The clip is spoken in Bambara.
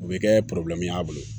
U bɛ kɛ y'a bolo